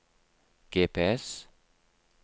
GPS